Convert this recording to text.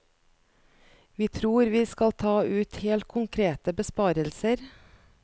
Vi tror vi skal ta ut helt konkrete besparelser.